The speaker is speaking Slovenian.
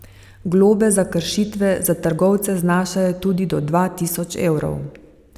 Globe za kršitve za trgovce znašajo tudi do dva tisoč evrov.